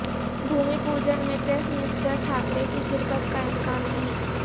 بھومی پوجن میں chief minister Thackeray کی شرکت کا امکان نہیں